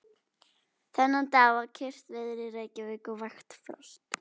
Þennan dag var kyrrt veður í Reykjavík og vægt frost.